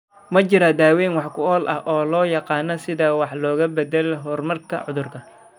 Ma jiro daaweyn wax ku ool ah oo loo yaqaan si wax looga beddelo horumarka cudurka.